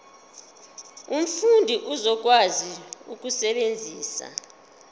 umfundi uzokwazi ukusebenzisa